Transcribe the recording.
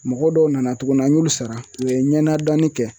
Mɔgɔ dɔw nana tuguni an y'olu sara, u ye ɲɛnadɔni kɛ